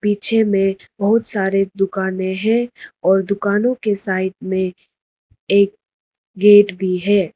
पीछे मे बहुत सारे दुकाने हैं और दुकानों के साइड में एक गेट भी है।